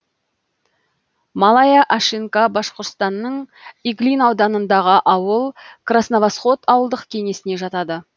малая ашинка башқұртстанның иглин ауданындағы ауыл красновосход ауылдық кеңесіне жатады